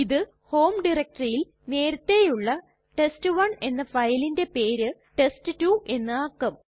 ഇത് ഹോം ഡയറക്ടറിയിൽ നേരത്തെയുള്ള ടെസ്റ്റ്1 എന്ന ഫയലിന്റെ പേര് ടെസ്റ്റ്2 എന്ന് ആക്കും